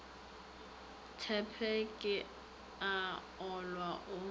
ntshepe ke a olwa o